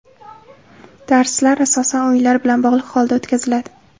Darslar asosan o‘yinlar bilan bog‘liq holda o‘tkaziladi.